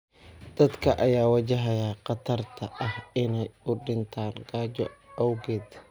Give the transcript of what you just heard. Dadka ayaa wajahaya khatarta ah inay u dhintaan gaajo awgeed.